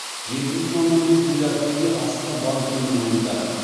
жеті бүтін оннан бес миллиард теңге астана банкінің мойнында